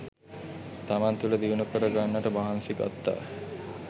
තමන් තුළ දියුණු කරගන්නට මහන්සි ගත්තා